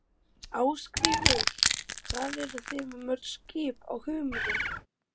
Ásgrímur: Hvað eruð þið með mörg skip á humri?